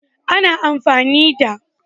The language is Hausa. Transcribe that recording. Ana amfani da